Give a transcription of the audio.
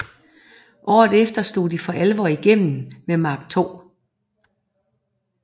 Året efter slog de for alvor igennem med Mark II